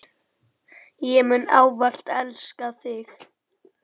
Ég mun ávallt elska þig.